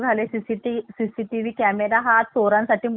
camera हा चोरासाठी मोठा अडथळा ठरलेला आहे